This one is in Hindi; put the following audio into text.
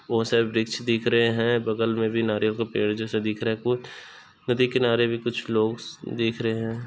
बहोत सारे वृक्ष दिख रहे है बगल में भी नारियल का पेड़ जैसा दिख रहा है कुछ-- नदी किनारे भी कुछ लोग दिख रहे है।